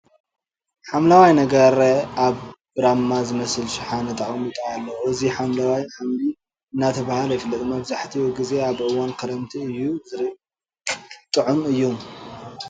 ሓምለዋይ ነገር ኣብ ብራማ ዝመስል ሽሓነ ተቀሚጡ ኣሎ። እዙይ ሓምለዋይ ሓምሊ እናተባህለ ይፍለጥ። መብዛሒቲኡ ግዜ ኣብ እዋን ኽረምቲ እዩ ዝርከብ ጥዑም እዩ።